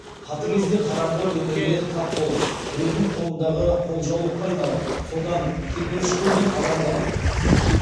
қатыгез де қараңғы өмірге тап болып біреудің қолындағы қолжаулыққа айналып содан теперіш көрген адамдар